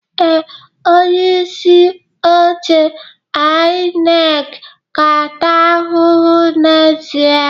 Ee, onye isi oche INEC ga-ata ahụhụ n'ezie